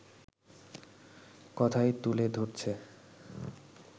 কথাই তুলে ধরছে